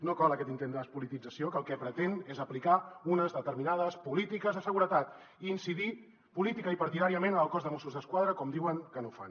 no cola aquest intent de despolitització que el que pretén és aplicar unes determinades polítiques de seguretat i incidir políticament i partidàriament en el cos de mossos d’esquadra com diuen que no fan